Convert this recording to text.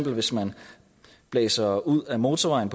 hvis man blæser ud ad motorvejen